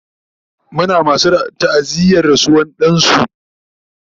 Muna masu ta'aziyar rasuwar dansu